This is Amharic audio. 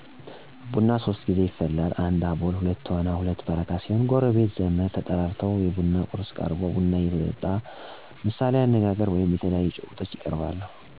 ቡና ሶስት ጌዜ ይፈላል 1 አቦል 2ቶና 3 በረካ ሲሆኑ ጎረቤት፣ ዘመድ ተጠርተው የቡና ቁርስ ቀርቦ ቡናው እየተጠጣ ተረት፣ ምሣሌ አነጋገር ወይም የተለያዩ ጭውውት ይቀርባሉ። ስለድሮ የህይወት ታሪክ ስለስራ ይመካከራሉ።